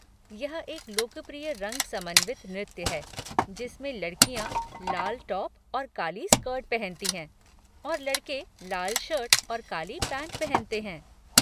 यह एक लोकप्रिय रंग समन्वित नृत्य है जिसमें लड़कियाँ लाल टॉप और काली स्कर्ट पहनती हैं और लड़के लाल शर्ट और काली पैंट पहनते हैं।